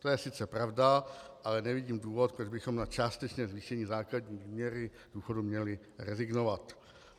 To je sice pravda, ale nevidím důvod, proč bychom na částečné zvýšení základní výměry důchodu měli rezignovat.